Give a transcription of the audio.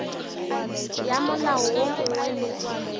ya molao wo mongwe le